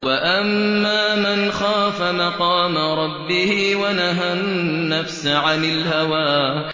وَأَمَّا مَنْ خَافَ مَقَامَ رَبِّهِ وَنَهَى النَّفْسَ عَنِ الْهَوَىٰ